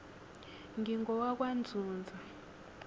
ngingowakwanzunza